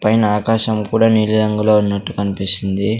పైన ఆకాశం కూడా నీలి రంగులో ఉన్నట్టు కనిపిస్తుంది.